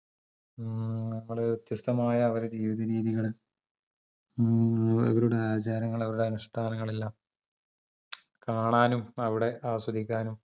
മ്മ് നമ്മള് വ്യത്യസ്തമായ അവരെ ജീവിതരീതികളും മ്മ് അവരുടെ ആചാരങ്ങളും അവരുടെ അനുഷ്ട്ടാനങ്ങളെല്ലാം മ്‌ചം കാണാനും അവടെ ആസ്വദിക്കാനും